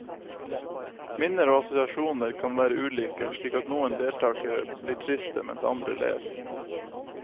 Minner og assosiasjoner kan være ulike, slik at noen deltakere blir triste mens andre ler.